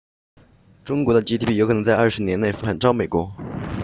中国的 gdp 有可能在20年内反超美国